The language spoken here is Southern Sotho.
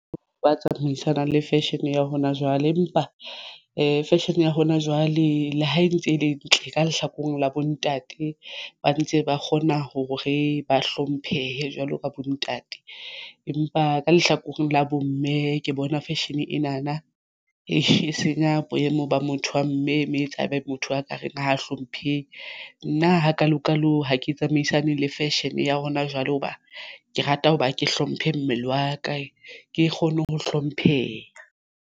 Wa tsamaisanang le fashion ya hona jwale empa fashion e ya hona jwale. Le ha e ntse e le ntle ka lehlakoreng la bontate ba ntse ba kgona hore ba hlomphehe jwalo ka bontate, empa ka lehlakoreng la bomme ke bona fashion ena na e senya boemo ba motho wa mme me etsa ebe motho a ka reng a hlompheha nna hakalo kalo ha ke tsamaisane le fashion e ya rona. Jwale hoba ke rata hoba ke hlomphe mmele wa ka ke kgone ho hlompheha.